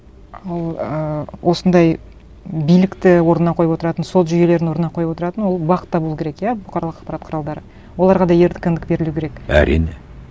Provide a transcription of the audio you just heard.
ал ііі осындай билікті орнына қойып отыратын сот жүйелерін орнына қойып отыратын ол бақ та болу керек иә бұқаралық ақпарат құралдары оларға да еркіндік берілу керек әрине